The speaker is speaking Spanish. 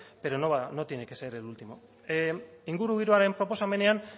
pero no va no tiene que ser el último ingurugiroaren proposamenean